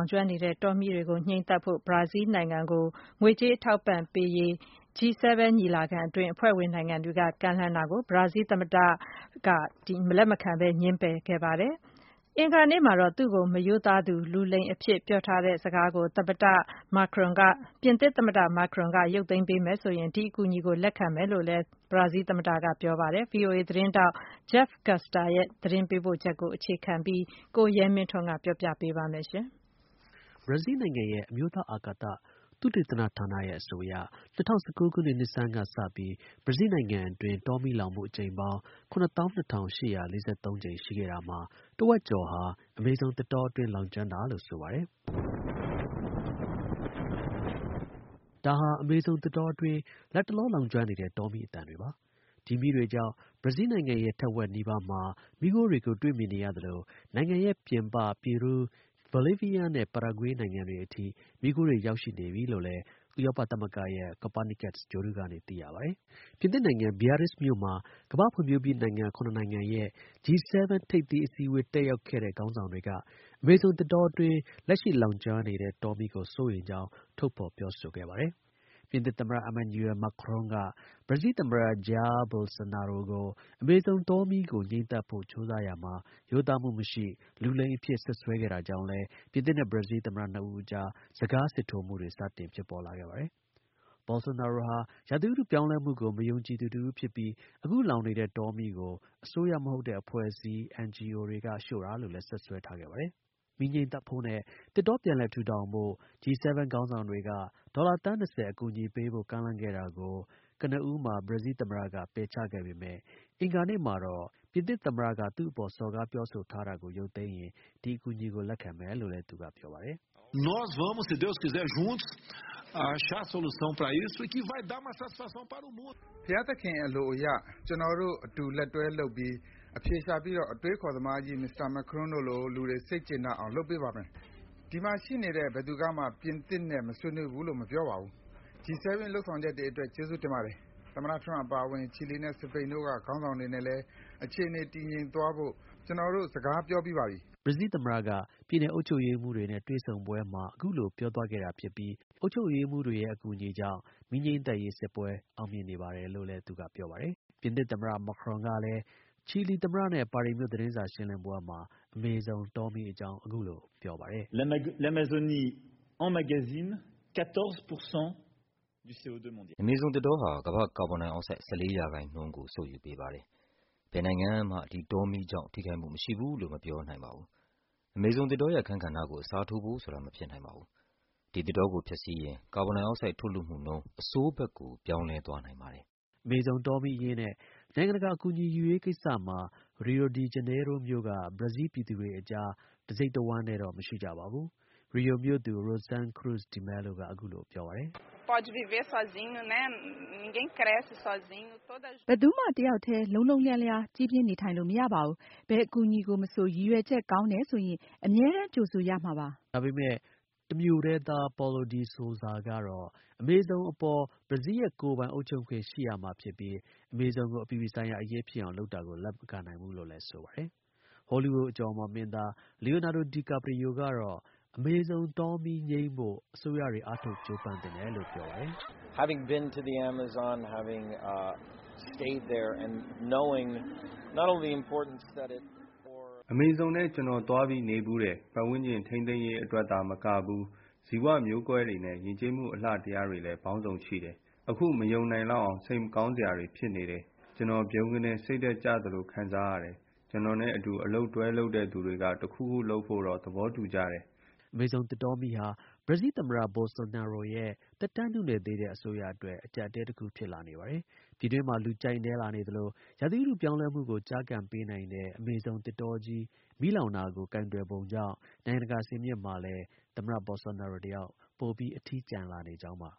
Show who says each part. Speaker 1: င်ကျွမ်းနေတဲ့ တောမီးတွေ ငြိမ်းသတ်ဖို့အတွက် ဘရာဇီးလ်နိုင်ငံကို ငွေကြေး အထောက်အပံ့ပေးဖို့ G7 ညီလာခံအတွင်း အဖွဲ့ဝင်နိုင်ငံတွေက ကမ်းလှမ်းတာကို ဘရာဇီးလ် သမ္မတ Jair Bolsonaro က လက်မခံပဲ ပယ်ချခဲ့ပါတယ်။ အင်္ဂါနေ့မှာတော့ သူ့ကို မရိုးသားသူ လူလိမ်အဖြစ် ပြောထားတဲ့စကားကို ပြင်သစ် သမ္မတ Macron က ရုပ်သိမ်းပေးမယ် ဆိုရင် ဒီ အကူအညီကို လက်ခံမယ်လို့လည်း ဘရာဇီးလ် သမ္မတက ပြောပါတယ်။ ဗွီအိုအေ သတင်းထောက် Jeff Custer ရဲ့ သတင်းပေးပို့ချက်ကို အခြေခံပြီး ကိုရဲမင်းထွန်းက တင်ပြပေးပါမယ်။ ဘရာဇီးလ်နိုင်ငံရဲ့ အမျိုးသား အာကာသ သုတေသနဌာနရဲ့ အဆိုအရ ၂၀၁၉ ခုနှစ် နှစ်ဆန်းကစပြီး ဘရာဇီးလ် နိုင်ငံအတွင်း တောမီး လောင်မှု အကြိမ်ပေါင်း ၇၂၈၄၃ ရှိခဲ့တာမှာ တစ်ဝက်ကျော်ဟာ အမေဇုံ သစ်တောအတွင်း လောင်ကျွမ်းတာလို့ ဆိုပါတယ်။ ဒီမီးတွေကြောင့် ဘရာဇီးလ်နိုင်ငံရဲ့ တစ်ဝက်နီးပါးမှာ မီးခိုးတွေကို တွေ့မြင်နေရသလို နိုင်ငံရဲ့ ပြင်ပ ပီရူး၊ ဘိုလီးဗီးယားနဲ့ ပါရာဂွေးနိုင်ငံတွေအထိ မီးခိုးတွေ ရောက်ရှိ နေပြီလို့လည်း ဥရောပသမဂ္ဂရဲ့ Copernicus ဂြိုလ်တုကနေ သိရှိရပါတယ်။ ပြင်သစ်နိုင်ငံ Beirrizt မြို့မှာ ကမ္ဘာ့ ဖွံ့ဖြိုးပြီးနိုင်ငံ ၇ နိုင်ငံရဲ့ G7 ထိပ်သီး အစည်းအဝေး တက်ရောက်နေတဲ့ ခေါင်းဆောင်တွေက အမေဇုံ သစ်တောအတွင်း လက်ရှိ လောင်ကျွမ်းနေတဲ့ တောမီးကို စိုးရိမ်ကြောင်း ထုတ်ဖော် ပြောဆိုပါတယ်။ ပြင်သစ် သမ္မတ Emmanuel Macron က ဘရာဇီးလ် သမ္မတ Jair Bolsonaro ကို အမေဇုံ တောမီးကို ငြှိမ်းသတ်ဖို့ကြိုးစားရာမှာ ရိုးသားမှု မရှိ၊ လူလိမ်အဖြစ် စွပ်စွဲခဲ့တာကြောင့် လည်း ပြင်သစ်နဲ့ ဘရာဇီးလ် သမ္မတနှစ်ဦးအကြား စကား စစ်ထိုးမှုတွေ စတင်ဖြစ်ပေါ်လာခဲ့ပါတယ်။ Bolsonaro ဟာ ရာသီဥတု ပြောင်းလဲမှု ကို မယုံကြည်သူတစ်ဦးဖြစ်ပြီး အခု လောင်နေတဲ့ တောမီးကို အစိုးရ မဟုတ်တဲ့ အဖွဲ့အစည်း NGO တွေက ရှို့တာလို့လည်း စွပ်စွဲခဲ့ပါတယ်။ မီးငြိမ်းသတ်ဖို့နဲ့ သစ်တော ပြန်လည်ထူထောင်ဖို့ G7 ခေါင်းဆောင်တွေက ဒေါ်လာ သန်း ၂၀ ကျော် အကူအညီပေးဖို့ ကမ်းလှမ်းခဲ့တာကို ကနဦးမှာ ပယ်ချခဲ့ပေမဲ့ အင်္ဂါနေ့မှာတော့ ပြင်သစ် သမ္မတက သူ့အပေါ် စော်ကားပြော ဆိုတာကို ရုပ်သိမ်းရင် ဒီ အကူအညီကို လက်ခံမယ်လို့ ဘရာဇီးလ် သမ္မတက ပြောပါတယ်။ “ဘုရားသခင် အလိုအရ ကျွန်တော်တို့ အလုပ်အတူ လက်တွဲလုပ်ပြီး အဖြေရှာပြီးတော့ အတွေးအခေါ်သမားကြီး Mr. Macron တို့လို လူတွေ စိတ်ကျေနပ်အောင် လုပ်ပေးပါမယ်။ ဒီမှာ ရှိနေတဲ့ ဘယ်သူကမှ ပြင်သစ်နဲ့မဆွေးနွေးဘူးလို့ မပြောပါဘူး။ G7 ရဲ့လုပ်ဆောင်ချက်တွေအတွက် ကျေးဇူးတင်ပါတယ်။ သမ္မတ ထရမ့်အပါအဝင် ချီလီနဲ့ စပိန်တို့က ခေါင်းဆောင်တွေ နဲ့လည်း အခြေအနေ တည်ငြိမ်သွားဖို့ ကျွန်တော် စကားပြောပြီးပါပြီ။” ဘရာဇီးလ် သမ္မတက ပြည်နယ် အုပ်ချုပ်ရေးမှူးတွေနဲ့ တွေ့ဆုံပွဲမှာ အခုလို ပြောသွားခဲ့တာဖြစ်ပြီး အုပ်ချုပ်ရေးမှူးတွေရဲ့ အကူအညီ ကြောင့် မီးငြိမ်းသတ်ရေး စစ်ပွဲ အောင်မြင်နေပါတယ်လို့လည်း ပြောပါတယ်။ ပြင်သစ် သမ္မတ Macron ကလည်း ချီလီသမ္မတနဲ့ ပါရီမြို့ သတင်းစာ ရှင်းလင်းပွဲမှာ အမေဇုံ တောမီးအကြောင်း အခုလို ပြောပါတယ်။ “အမေဇုံ သစ်တောဟာ ကမ္ဘာ့ ကာဗွန်ဒိုင်အောင်ဆိုဒ် ၁၄ ရာခိုင်နှုန်းကို စုပ်ယူပေးပါတယ်။ ဘယ်နိုင်ငံကမှာ ဒီ တောမီးကြောင့် ထိခိုက်မှု မရှိဘူးလို့ မပြောနိုင်ပါဘူး။ အမေဇုံ သစ်တောရဲ့ အခန်းကဏ္ဍကို အစားထိုးဖို့ဆိုတာ မဖြစ်နိုင်ပါဘူး။ ဒီ သစ်တောကို ဖျက်ဆီးရင် ကာဗွန်ဒိုင် အောက်ဆိုဒ် ထုတ်လွှတ်မှုနှုန်း အဆိုးဘက်ကို ပြောင်းလဲသွားနိုင်ပါတယ်။” အမေဇုံ တောမီးအရေးနဲ့ နိုင်ငံတကာ အကူအညီ ယူရေးကိစ္စမှာ ရီယိုဒီ ဂျနေရိုးမြို့က ဘရာဇီးလ် ပြည်သူတွေအကြား တစ်စိတ်တစ်ဝမ်းတည်း တော့ မရှိကြပါဘူး။ ရီယို မြို့သူ Rosane Cruz De Melo က အခုလို ပြောပါတယ်။ “ဘယ်သူမှ တစ်ယောက်တည်း လုံးလုံးလျားလျား ကြီးပြင်း နေထိုင်လို့ မရပါဘူး။ ဘယ် အကူအညီကို မဆို ရည်ရွယ်ချက် ကောင်းတယ်ဆိုရင် အမြဲတမ်း ကြိုဆိုရမှာပါပဲ။” တစ်မြို့တည်းသား Paulo de Souza ကတော့ အမေဇုံအပေါ် ဘရားဇီးလ်ရဲ့ ကိုယ်ပိုင် အုပ်ချုပ်ခွင့် ရှိရမှာဖြစ်ပြီး အမေဇုံကို အပြည်ပြည် ဆိုင်ရာ အရေးဖြစ်အောင်လုပ်တာကို လက်မခံနိုင်ဘူးလို့ ဆိုပါတယ်။ Hollywood အကျော်အမော် မင်းသား Leonado Di Carprio ကတော့ အမေဇုံ တောမီး ငြိမ်းဖို့ အစိုးရတွေ အားထုတ် ကြိုးပမ်း သင့်တယ်လို့ ပြောပါတယ်။ “အမေဇုံထဲ ကျွန်တော် သွားပြီးနေဖူးတယ်။ ပတ်ဝန်းကျင် ထိန်းသိမ်းရေးအတွက် သာမကဘူး ဇီဝမျိုးကွဲတွေနဲ့ ယဉ်ကျေးမှု အလှတရားတွေ လည်း ပေါင်းစုံရှိတယ်။ အခု မယုံနိုင်လောက်အောင် စိတ်မကောင်းစရာတွေ ဖြစ်နေတယ်။ ကျွန်တော် ဗြုန်းကနဲ့ စိတ်ဓါတ် ကျသလို ခံစားရတယ်။ ကျွန်တော်နဲ့ အတူ အလုပ်တွဲလုပ်သူတွေက တစ်ခုခု လုပ်ဖို့တော့ သဘောတူကြတယ်။” အမေဇုံ သစ်တောမီးဟာ ဘရာဇီးလ် သမ္မတ Bosolnaro ရဲ့ သက်တမ်းနုနယ် သေးတဲ့ အစိုးရအတွက် အကျပ်အတည်း တစ်ခု ဖြစ်လာ နေပါတယ်။ ပြည်တွင်းမှာ လူကြိုက်နည်းလာနေသလို ရာသီဥတု ပြောင်းလဲမှုကို ကျားကန်ပေးနိုင်တဲ့ အမေဇုံ သစ်တာကြီး မီးလောင်တာကို ကိုင်တွယ်ပုံကြောင့် နိုင်ငံတကာ စင်မြင့်မှာလည်း သမ္မတ Bolsonaro တစ်ယောက် ပိုပြီး အထီးကျန်လာနေကြောင်းပါ